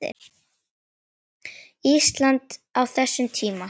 Íslandi á þessum tíma.